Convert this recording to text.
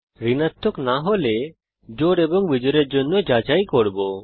ঋণাত্মক না হলে জোড় এবং বিজোড়ের জন্য যাচাই করব